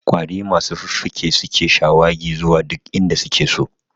Ƙwari masu fuffuke su suke shawagi zuwa duk inda suke so